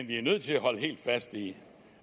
vi er nødt til at holde helt fast i